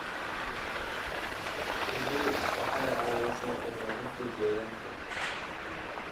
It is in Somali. Shinnidu waxay caawisaa ilaalinta deegaanka.